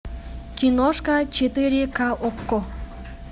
киношка четыре ка окко